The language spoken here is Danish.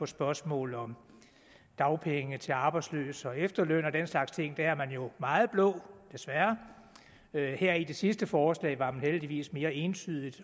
spørgsmål om dagpenge til arbejdsløse og efterløn og den slags ting der er man jo meget blå desværre her i det sidste forslag var man heldigvis mere entydigt